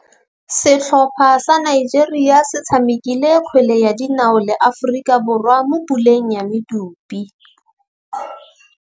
Setlhopha sa Nigeria se tshamekile kgwele ya dinaô le Aforika Borwa mo puleng ya medupe.